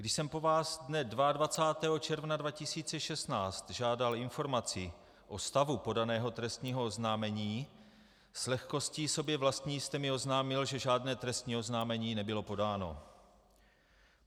Když jsem po vás dne 22. června 2016 žádal informaci o stavu podaného trestního oznámení, s lehkostí sobě vlastní jste mi oznámil, že žádné trestní oznámení nebylo podáno.